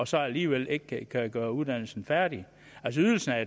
så alligevel ikke kan kan gøre uddannelsen færdig altså ydelsen er